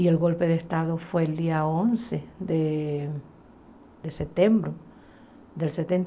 E o golpe de estado foi no dia onze de de setembro de